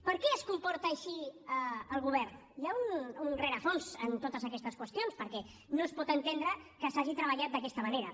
per què es comporta així el govern hi ha un rerefons en totes aquestes qüestions perquè no es pot entendre que s’hagi treballat d’aquesta manera